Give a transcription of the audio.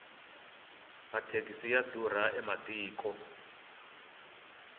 mathekisi ya durha ematiko